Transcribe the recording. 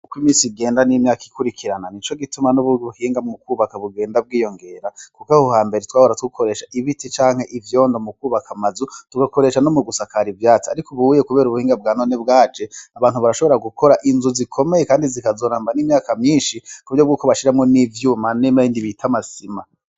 Kuko imisi igenda n'imyaka ikurikirana ni co gituma n'uburuhinga mu kwubaka bugenda bwiyongera, kuko aho ha mbere twabora twukoresha ibiti canke ivyondo mu kwubaka amazu tugakoresha no mu gusakara ivyati, ariko ubuwiye, kubera ubuhinga bwa none bwaje abantu barashobora gukora inzu zikomeye, kandi zikazoramba n'imyaka myinshi ku vyo bwukobashiramwo n'ivyuma nema y indi bita amasima.